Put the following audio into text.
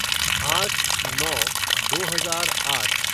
आठ नौ दो हजार आठ